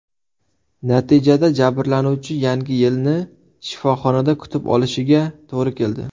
Natijada jabrlanuvchi Yangi yilni shifoxonada kutib olishiga to‘g‘ri keldi.